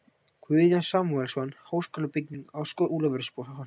Guðjón Samúelsson: Háskólabygging á Skólavörðuholti.